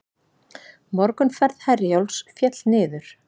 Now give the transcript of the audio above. Morgunferð Herjólfs féll niður